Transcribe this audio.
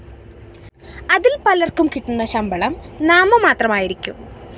അതില്‍ പലര്‍ക്കും കിട്ടുന്ന ശമ്പളം നാമമാത്രം ആയിരിക്കും